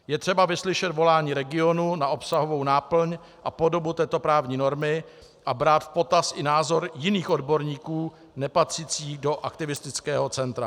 Je třeba vyslyšet volání regionu na obsahovou náplň a podobu této právní normy a brát v potaz i názor jiných odborníků, nepatřících do aktivistického centra.